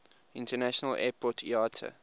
international airport iata